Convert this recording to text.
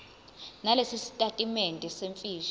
nalesi sitatimende semfihlo